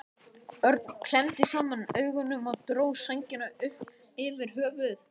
Örn klemmdi saman augun og dró sængina upp yfir höfuð.